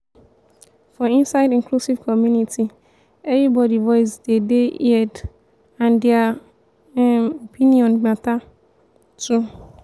for inside inclusive community everybody voice de dey heaeed and their um opinion matter um too